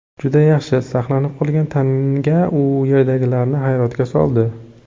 Juda yaxshi saqlanib qolgan tanga u yerdagilarni hayratga soldi.